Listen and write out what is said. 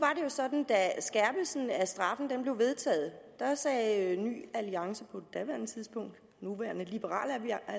sådan at af straffen blev vedtaget sagde ny alliance på daværende tidspunkt nuværende liberal